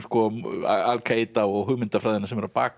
Al Kaída og hugmyndafræðina sem er á bak við